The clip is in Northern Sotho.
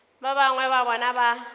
ba bangwe ba bona ba